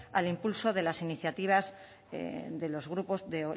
al impulso de las iniciativas de los grupos de